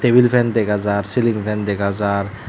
tebil fen dega jar ceiling fan dega jar.